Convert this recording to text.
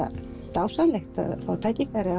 dásamlegt að fá tækifæri